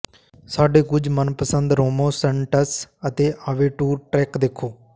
ਸਾਡੇ ਕੁਝ ਮਨਪਸੰਦ ਰੋਮੋ ਸੈਂਟਸ ਅਤੇ ਆਵੈਂਟੁਰ ਟ੍ਰੈਕ ਦੇਖੋ